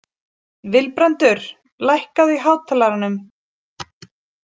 Vilbrandur, lækkaðu í hátalaranum.